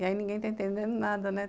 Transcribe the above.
E aí ninguém está entendendo nada, né?